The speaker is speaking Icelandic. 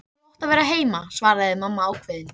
Þú átt að vera heima, svaraði mamma ákveðin.